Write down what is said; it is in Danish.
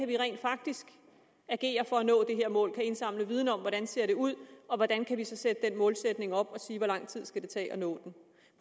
vi rent faktisk kan agere for at nå det her mål de skal indsamle viden om hvordan det ser ud og hvordan vi så kan sætte den målsætning op og sige hvor lang tid det skal tage at nå